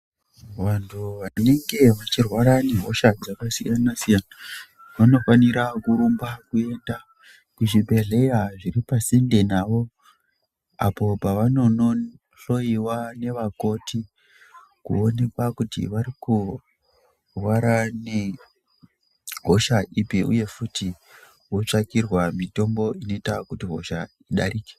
Vantu vanenge veirwara nehosha dzakasiyana siyana, vanofanira kurumba kuenda kuzvibhedhlera zviri pasinde nawo, apo pavanonohloyiwa nevakoti kuonekwa kuti vari kurwara nehosha ipi uye futi votsvakirwa mitombo inoita kuti hosha idarike.